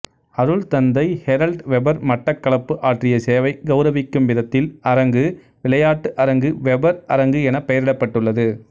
அருட்தந்தை Harold Weber Batticaloa ஆற்றிய சேவை கெளரவிக்கும் விதத்தில் அரங்கு விளையாட்டு அரங்கு வெபர் அரங்கு எனப் பெயரிடப்பட்டுள்ளது